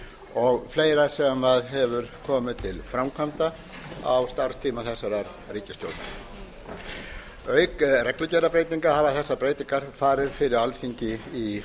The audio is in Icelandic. og fleira sem hefur komið til framkvæmda á starfstíma þessarar ríkisstjórnar auk reglugerðarbreytinga hafa þessar breytingar farið fyrir alþingi í